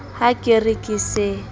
ha ke re ke se